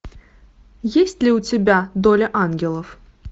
есть ли у тебя доля ангелов